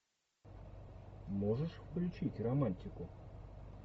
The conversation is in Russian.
можешь включить романтику